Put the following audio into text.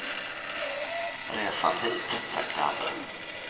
Resan hit, tänkte han nu.